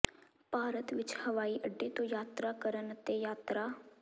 ਭਾਰਤ ਵਿੱਚ ਹਵਾਈ ਅੱਡੇ ਤੋਂ ਯਾਤਰਾ ਕਰਨ ਅਤੇ ਯਾਤਰਾ